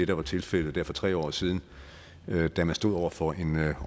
der var tilfældet for tre år siden da man stod over for en